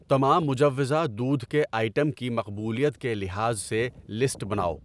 تمام مجوّزہ دودھ کے آئٹم کی مقبولیت کے لحاظ سے لسٹ بناؤ۔